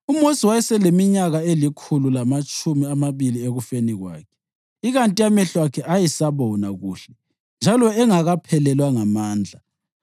UMosi wayeseleminyaka elikhulu lamatshumi amabili ekufeni kwakhe, ikanti amehlo akhe ayesabona kuhle njalo engakaphelelwa ngamandla.